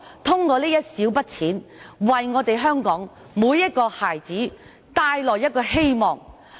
這一小筆錢，能為香港每個孩子帶來希望。